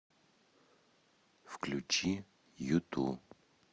включи юту